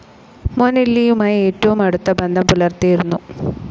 മൊനെല്ലിയുമായി ഏറ്റവും അടുത്ത ബന്ധം പുലർത്തിയിരുന്നു.